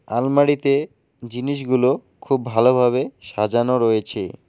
আলমারিতে জিনিসগুলো খুব ভালোভাবে সাজানো রয়েছে।